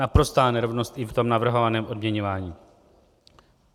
Naprostá nerovnost i v tom navrhovaném odměňování.